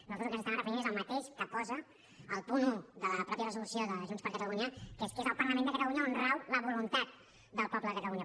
nosaltres al que ens estàvem referint és al mateix que posa al punt un de la mateixa resolució de junts per catalunya que és que és al parlament de catalunya on rau la voluntat del poble de catalunya